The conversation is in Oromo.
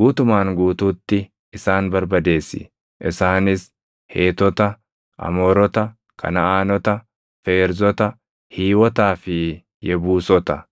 guutumaan guutuutti isaan barbadeessi; isaanis Heetota, Amoorota, Kanaʼaanota, Feerzota, Hiiwotaa fi Yebuusota.